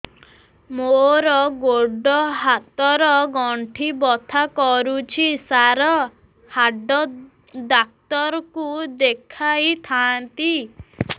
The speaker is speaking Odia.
ମୋର ଗୋଡ ହାତ ର ଗଣ୍ଠି ବଥା କରୁଛି ସାର ହାଡ଼ ଡାକ୍ତର ଙ୍କୁ ଦେଖାଇ ଥାନ୍ତି